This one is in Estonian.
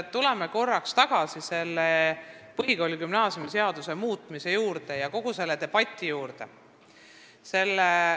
Tuleme korraks tagasi põhikooli- ja gümnaasiumiseaduse muutmise juurde ja kogu selle debati juurde.